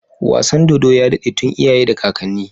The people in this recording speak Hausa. Wasan dodo ya dade tun iyaye da kakanni